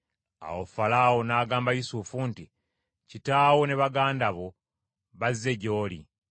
Awo Falaawo n’agamba Yusufu nti, “Kitaawo ne baganda bo bazze gy’oli.